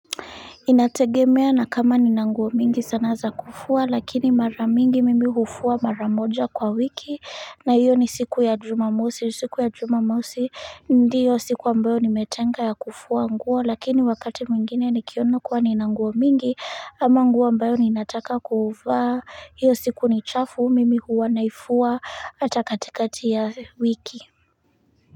Inategemea na kama nina nguo mingi sana za kufua lakini mara mingi mimi hufua mara moja kwa wiki na hiyo ni siku ya juma mosi, siku ya juma mosi ndiyo siku ambayo nimetenga ya kufua nguo, lakini wakati mwingine nikiona kuwa nina nguo mingi ama nguo ambayo ninataka kuuvaa hiyo siku ni chafu mimi huwa naifua hata katikati ya wiki.